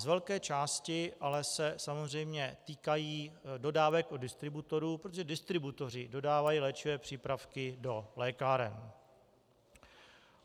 Z velké části se ale samozřejmě týkají dodávek od distributorů, protože distributoři dodávají léčivé přípravky do lékáren.